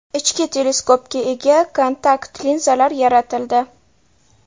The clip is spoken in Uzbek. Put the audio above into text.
Ichki teleskopga ega kontakt linzalar yaratildi.